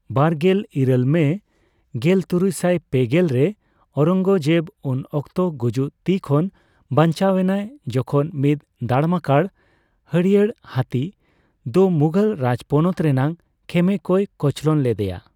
ᱵᱟᱨᱜᱮᱞ ᱤᱨᱟᱹᱞ ᱢᱮ ᱜᱮᱞᱛᱩᱨᱩᱭᱥᱟᱭ ᱯᱮᱜᱮᱞ ᱯᱮ ᱨᱮ ᱳᱭᱨᱚᱝᱜᱡᱮᱵ ᱩᱱ ᱚᱠᱛᱚ ᱜᱩᱡᱩᱜ ᱛᱤ ᱠᱷᱚᱱ ᱵᱟᱧᱪᱟᱣ ᱮᱱᱟᱭ ᱡᱚᱠᱷᱚᱱ ᱢᱤᱫ ᱫᱟᱲᱢᱟᱠᱟᱲ ᱦᱟᱹᱲᱭᱟᱹᱭ ᱦᱟᱹᱛᱤ ᱫᱚ ᱢᱩᱜᱷᱚᱞ ᱨᱟᱡᱽᱯᱚᱱᱚᱛ ᱨᱮᱱᱟᱜ ᱠᱷᱮᱢᱮ ᱠᱚ ᱠᱚᱪᱞᱚᱱ ᱠᱮᱫᱮᱭᱟ ᱾